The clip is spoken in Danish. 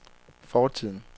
fortiden